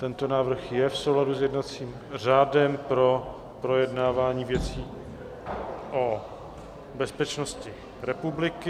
Tento návrh je v souladu s jednacím řádem pro projednávání věcí o bezpečnosti republiky.